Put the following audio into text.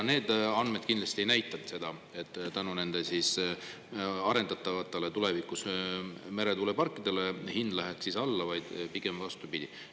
Need andmed kindlasti ei näidanud seda, et tänu arendatavatele meretuuleparkidele läheks hind tulevikus alla, vaid pigem vastupidi.